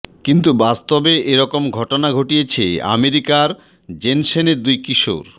কিন্তু বাস্তবে এ রকম ঘটনা ঘটিয়েছে আমেরিকার জেনসেনের দুই কিশোর